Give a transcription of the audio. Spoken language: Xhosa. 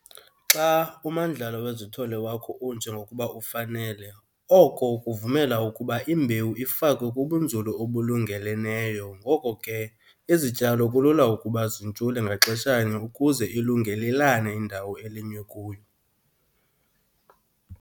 Xa umandlalo wezithole wakho unje ngokuba ufanele, oko kvumela ukuba imbewu ifakwe kubunzulu obulungeleleneyo ngoko ke izityalo kulula ukuba zintshule ngaxeshanye ukuze ilungelelane indawo eulinywe kuyo.